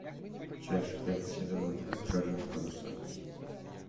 часть пять сезона два черные паруса